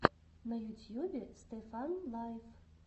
на ютьюбе стефан лайф